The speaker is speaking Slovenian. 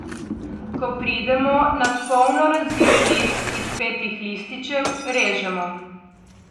Ko pridemo nad polno razvit list iz petih lističev, režemo.